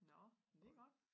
Nå men det godt